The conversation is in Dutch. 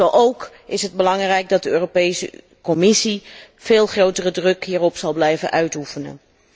Zo ook is het van belang dat de Europese Commissie veel grotere druk hierop blijft uitoefenen.